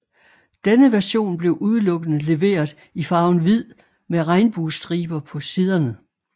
Denne version blev udelukkende leveret i farven hvid med regnbuestriber på siderne